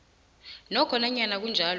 nokho nanyana kunjalo